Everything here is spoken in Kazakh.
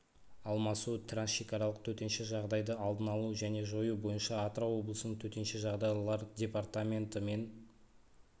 алмасу трансшекаралық төтенше жағдайды алдын алу және жою бойынша атырау облысының төтенше жағдайлар департаменті мен